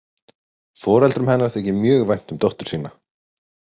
Foreldrum hennar þykir mjög vænt um dóttur sína.